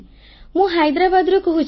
ମୁଁ ହାଇଦ୍ରାବାଦରୁ କହୁଛି